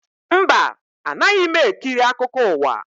Mba, anaghị m ekiri akụkọ ụwa